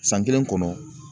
San kelen kɔnɔ